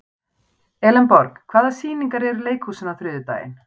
Elenborg, hvaða sýningar eru í leikhúsinu á þriðjudaginn?